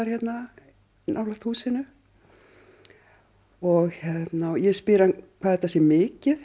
hérna nálægt húsinu og ég spyr hann hvað þetta sé mikið